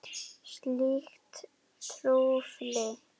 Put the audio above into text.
Slíkt trufli.